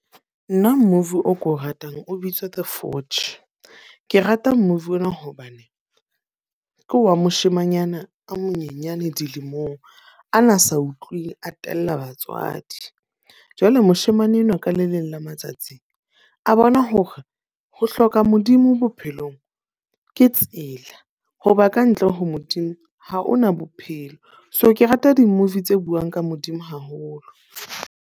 Nna movie o ko ratang, o bitswa The Forge. Ke rata movie ona hobane ke wa moshimanyana a monyenyane dilemong a na sa utlwi, a tella batswadi. Jwale moshemane enwa ka le leng la matsatsi a bona hore ho hloka Modimo bophelong ke tsela. Ho ba ka ntle ho Modimo ha o na bophelo. So, ke rata di-movie tse buang ka Modimo haholo.